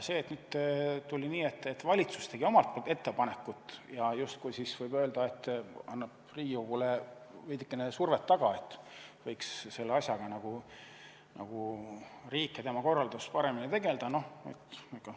Nüüd läks nii, et valitsus tegi oma ettepaneku ja justkui võib öelda, et loob Riigikogule veidikene survet, et võiks sellise asjaga nagu riik ja tema korraldus paremini tegelda.